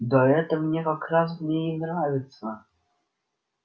да это мне как раз в ней и нравится